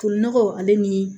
Funɔgɔ ale ni